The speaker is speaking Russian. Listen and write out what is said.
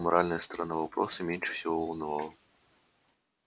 моральная сторона вопроса меньше всего волновала